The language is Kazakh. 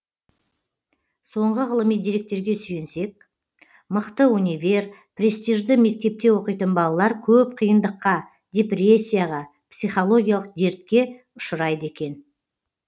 соңғы ғылыми деректерге сүйенсек мықты универ престижді мектепте оқитын балалар көп қиындыққа депрессияға психологиялық дертке ұшырайды екен